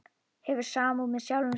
Hefur samúð með sjálfum sér.